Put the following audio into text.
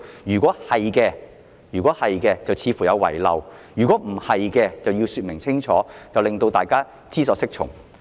如果不是的話，司長便應該清楚說明，令大家知所適從。